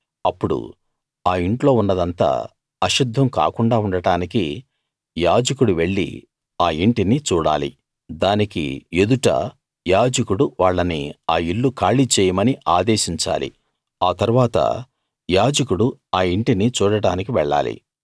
అప్పుడు ఆ ఇంట్లో ఉన్నదంతా అశుద్ధం కాకుండా ఉండటానికి యాజకుడు వెళ్ళి ఆ ఇంటిని చూడాలి దానికి ఎదుట యాజకుడు వాళ్ళని ఆ ఇల్లు ఖాళీ చేయమని ఆదేశించాలి ఆ తరువాత యాజకుడు ఆ ఇంటిని చూడటానికి వెళ్ళాలి